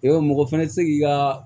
Yarɔ mɔgɔ fana tɛ se k'i ka